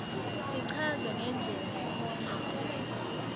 sichazwe ngendlela lekhomba